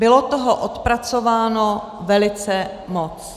Bylo toho odpracováno velice moc.